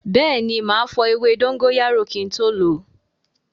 Bẹẹni, ma fọ ewé dóngóyárò kin tó lo